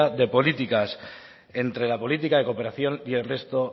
de políticas entre la política de cooperación y el resto